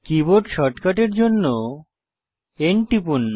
keyboard শর্টকাটের জন্য N টিপুন